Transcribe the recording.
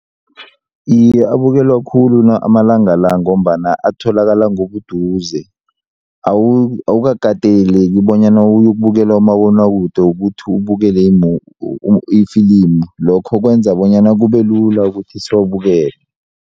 Iye, abukelwa khulu amalanga la ngombana atholakala ngobuduze awukateleleki bonyana uyokubukela umabonakude ukuthi ubukele ifilimu lokho kwenza bonyana kube lula ukuthi siwabukele.